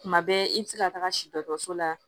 Tuma bɛɛ i bɛ se ka taga si dɔso la